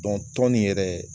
Dɔnku tɔn nin yɛrɛ